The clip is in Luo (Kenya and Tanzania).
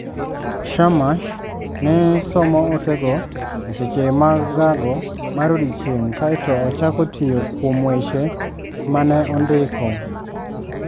Shammas ne somo otego e seche mag gago mar odiechieng' kae to ochako tiyo kuom weche ma ne ondiko.